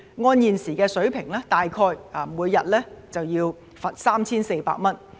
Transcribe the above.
按現時的水平，每天要罰大約 3,400 元。